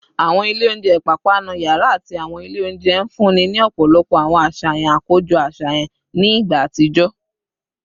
Awọn ilẹ ounjẹ ipapanu yara ati awọn ile ounjẹ nfunni ni ọpọlọpọ awọn aṣayan akojọ aṣayan ni igba atijọ